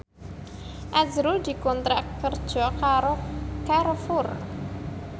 azrul dikontrak kerja karo Carrefour